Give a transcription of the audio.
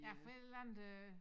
Ja fra et eller andet øh